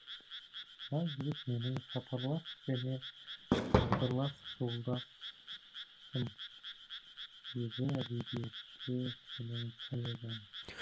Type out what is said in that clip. мына жігіт менің сапарлас және тағдырлас жолдасым өзі әдебиетші сенің коллегаң